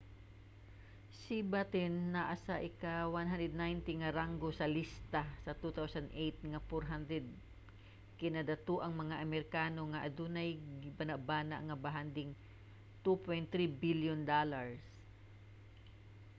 si batten naa sa ika-190 nga ranggo sa lista sa 2008 nga 400 kinadatoang mga amerikano nga adunay gibanabana nga bahanding $2.3 bilyon